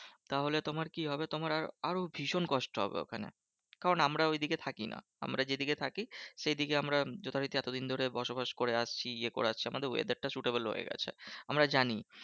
তাহলে তোমার কি হবে? তোমার আর আরও ভীষণ কষ্ট হবে ওখানে। কারণ আমরা ঐদিকে থাকি না। আমরা যেদিকে থাকি সেইদিকে আমরা যথারীতি এতদিন ধরে বসবাস করে আসছি ইয়ে করে আসছি আমাদের weather টা suitable হয়ে গেছে। আমরা জানি